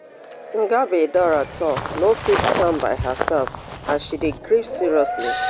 ngabi dora tue no fit stand by herself as she dey grief seriously